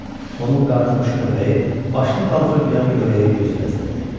Onun qartımış köpəyi başını qaldırıb yan-yörəyə göz gəzdirirdi.